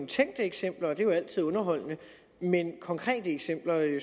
tænkte eksempler og det er jo altid underholdende men konkrete eksempler